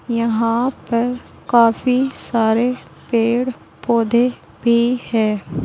यहां पर काफी सारे पेड़ पौधे भी है।